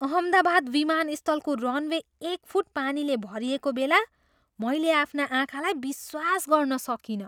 अहमदाबाद विमानस्थलको रनवे एक फुट पानीले भरिएको बेला मैले आफ्ना आँखालाई विश्वास गर्न सकिनँ।